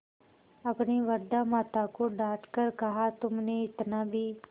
अपनी वृद्धा माता को डॉँट कर कहातुमसे इतना भी